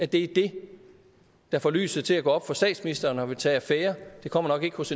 det er det der får lyset til at gå op for statsministeren så han vil tage affære det kommer nok ikke hos